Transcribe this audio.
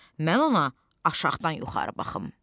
Mən ona aşağıdan yuxarı baxım.